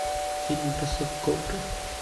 фильм бросок кобры